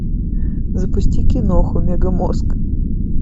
запусти киноху мегамозг